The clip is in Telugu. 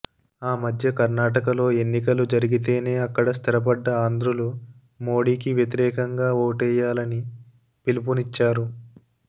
ఆ మధ్య కర్ణాటకలో ఎన్నికలు జరిగితేనే అక్కడ స్థిరపడ్డ ఆంధ్రులు మోడీకి వ్యతిరేకంగా ఓటెయ్యాలని పిలుపునిచ్చారు